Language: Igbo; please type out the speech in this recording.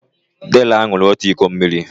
Deraa ṅụrụ òtù iko mmiri.